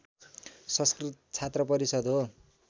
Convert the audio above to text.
संस्कृत छात्रपरिषद् हो